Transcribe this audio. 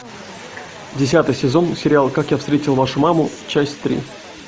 десятый сезон сериал как я встретил вашу маму часть три